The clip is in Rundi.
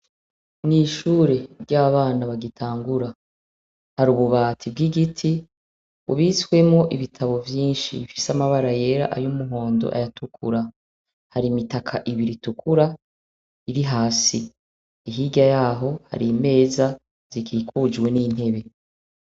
Mw'ishure ry'abana bagitangura hari ububati bw'igiti bubitswemwo ibitabo vyinshi bifise amabara yera, ay'umuhondo, ayatukura hari imitaka ibiri itukura iri hasi hirya yaho hari imeza zikikujwe n'intebe.